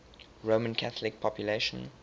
roman catholic population